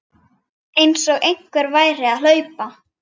Einsog einhver væri að hlaupa